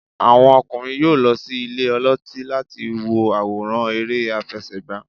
àwọn okunrin yọọ lo sí ìlè olotí latí wo aworán ère afẹsẹgba.